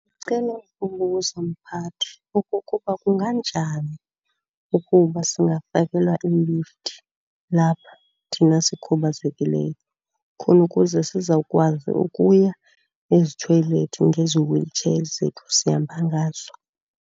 Ndicela ukubuza mphathi, okokuba kunganjani ukuba singafakelwa iilifti lapha thina sikhubazekileyo khona ukuze sizawukwazi ukuya ezithoyilethi ngezi wheel chair zethu sihamba ngazo?